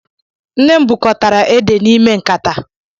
Nne m bukọtara édè n'ime nkata.